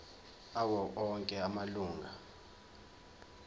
awo onke amalunga